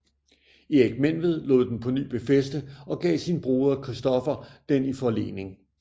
Erik Menved lod den på ny befæste og gav sin broder Christoffer den i forlening